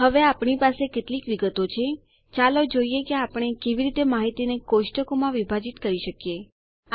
હવે આપણી પાસે કેટલીક વિગતો છે ચાલો જોઈએ કે આપણે કેવી રીતે માહિતીને કોષ્ટકોમાં વિભાજીત કરી શકીએ છીએ